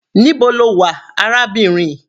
Níbo lo wà arábìnrin?